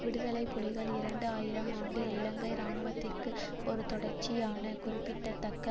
விடுதலை புலிகள் இரண்டு ஆயிரம் ஆண்டில் இலங்கை இராணுவத்துக்கு ஒரு தொடர்ச்சியான குறிப்பிடத்தக்க